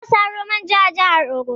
Muna Saro manja a jahar ogun.